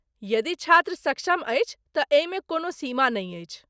यदि छात्र सक्षम अछि तँ एहिमे कोनो सीमा नहि अछि।